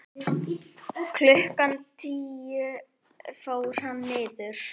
Klukkan tíu fór hann niður.